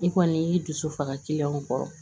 I kɔni y'i dusu faga kiliyanw kɔrɔ